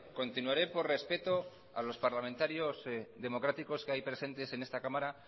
continuaré por respeto a los parlamentarios democráticos que hay presentes en esta cámara